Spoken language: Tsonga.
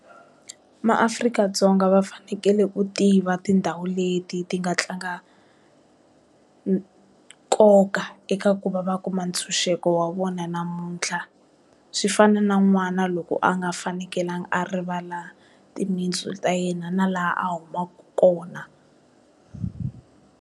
Ma Afrika-Dzonga va fanekele u tiva tindhawu leti ti nga tlanga nkoka eka ku va va kuma ntshunxeko wa vona namuntlha swi fana na n'wana loko a nga fanekelanga a rivala timintsu ta yena na laha a humaku kona.